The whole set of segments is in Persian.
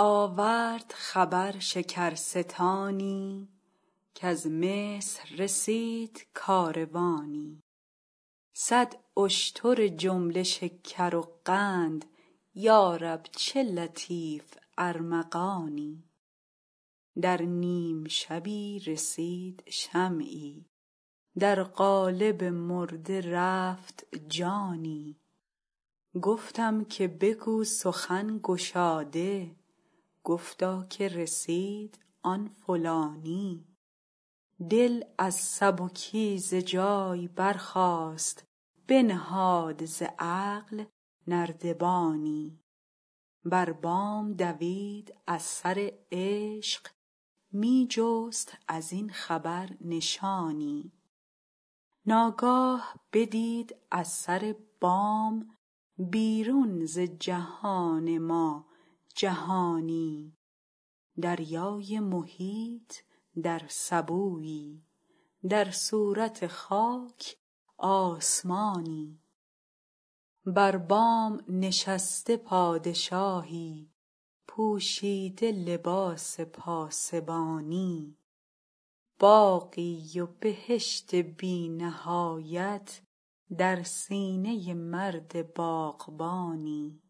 آورد خبر شکرستانی کز مصر رسید کاروانی صد اشتر جمله شکر و قند یا رب چه لطیف ارمغانی در نیم شبی رسید شمعی در قالب مرده رفت جانی گفتم که بگو سخن گشاده گفتا که رسید آن فلانی دل از سبکی ز جای برجست بنهاد ز عقل نردبانی بر بام دوید از سر عشق می جست از این خبر نشانی ناگاه بدید از سر بام بیرون ز جهان ما جهانی دریای محیط در سبویی در صورت خاک آسمانی بر بام نشسته پادشاهی پوشیده لباس پاسبانی باغی و بهشت بی نهایت در سینه مرد باغبانی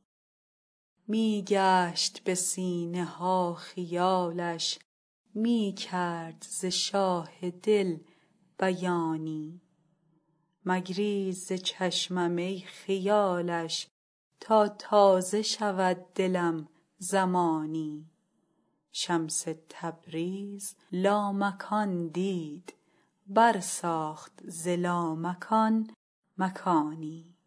می گشت به سینه ها خیالش می کرد ز شاه دل بیانی مگریز ز چشمم ای خیالش تا تازه شود دلم زمانی شمس تبریز لامکان دید برساخت ز لامکان مکانی